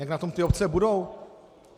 Jak na tom ty obce budou?